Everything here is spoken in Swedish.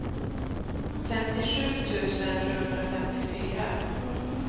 femtiosju tusen sjuhundrafemtiofyra